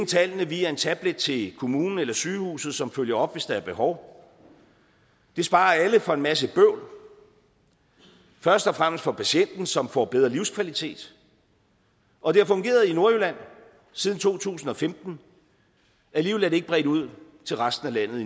tallene via en tablet til kommunen eller sygehuset som følger op hvis der er behov det sparer alle for en masse bøvl først og fremmest patienten som får en bedre livskvalitet og det har fungeret i nordjylland siden to tusind og femten alligevel er det endnu ikke bredt ud til resten af landet det